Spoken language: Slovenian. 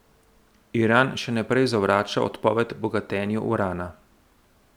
Iran še naprej zavrača odpoved bogatenju urana.